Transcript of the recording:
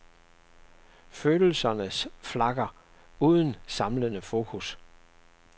Følelserne flakker, uden samlende fokus.